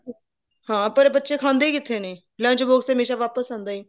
ਹਾਂ ਪਰ ਬੱਚੇ ਖਾਂਦੇ ਕਿੱਥੇ ਨੇ lunch box ਹਮੇਸ਼ਾ ਵਾਪਸ ਆਂਦਾ ਹੈ